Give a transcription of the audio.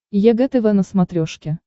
егэ тв на смотрешке